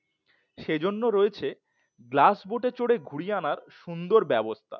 সেজন্য আছে গ্লাস বোটে চড়ে ঘুরিয়ে আনার সুন্দর ব্যবস্থা